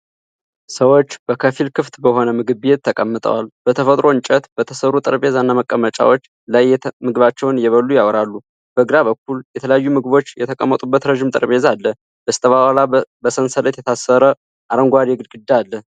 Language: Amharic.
ሰዎች በከፊል ክፍት በሆነ ምግብ ቤት ተቀምጠዋል። በተፈጥሮ እንጨት በተሰሩ ጠረጴዛና መቀመጫዎች ላይ ምግባቸውን እየበሉ ያወራሉ። በግራ በኩል የተለያዩ ምግቦች የተቀመጡበት ረዥም ጠረጴዛ አለ። በስተኋላ በሰንሰለት የታጠረ አረንጓዴ ግድግዳ አለ።